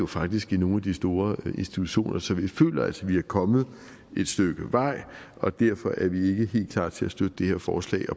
faktisk i nogle af de store institutioner så vi føler altså at vi er kommet et stykke vej og derfor er vi ikke helt klar til at støtte det her forslag